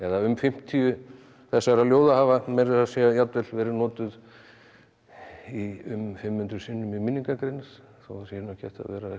um fimmtíu þessara ljóða hafa meira að segja verið notuð um fimm hundruð sinnum í minningargreinar þó það sé nú ekki hægt að